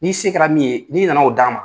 N'i sen kɛra min ye n'i nana o d'an ma.